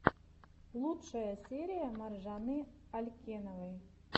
лучшая серия маржаны алькеновой